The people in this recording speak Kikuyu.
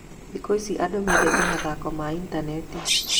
Thikũ ici, andũ mendete mathako ma intaneti.